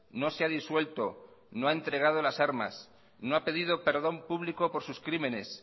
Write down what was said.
no se ha disuelto no ha entregado las armas no ha pedido perdón público por sus crímenes